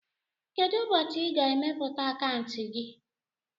Kedụ ụbọchị i ga- emepe akauntu gị?